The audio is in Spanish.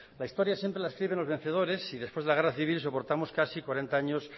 la historia siempre la escriben los vencedores y después de la guerra civil soportamos casi cuarenta años